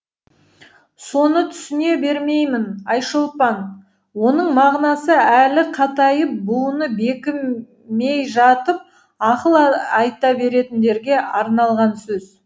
соны түсіне бермеймін айшолпан оның мағынасы әлі қатайып буыны бекімей жатып ақыл айта беретіндерге арналған сөз